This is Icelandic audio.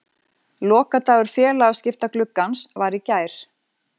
Lokadagur félagaskiptagluggans var í gær.